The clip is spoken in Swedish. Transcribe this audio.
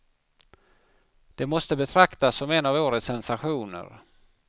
Det måste betraktas som en av årets sensationer.